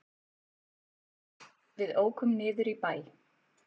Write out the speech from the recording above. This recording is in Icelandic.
Við ókum niður í bæ.